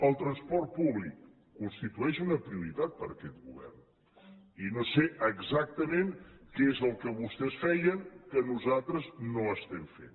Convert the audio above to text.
el transport públic constitueix una prioritat per a aquest govern i no sé exactament què és el que vostès feien que nosaltres no estem fent